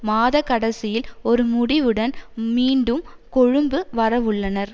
மாத கடைசியில் ஒரு முடிவுடன் மீண்டும் கொழும்பு வரவுள்ளனர்